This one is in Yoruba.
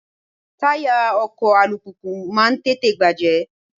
Táyà ọkọ̀ alùpùpù máa ń tètè bàjẹ́.